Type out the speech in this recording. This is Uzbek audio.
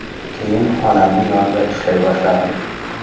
Keyin onamning yonida ishlay boshladim.